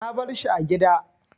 Na bar shi a gida.